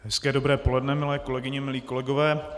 Hezké dobré poledne, milé kolegyně, milí kolegové.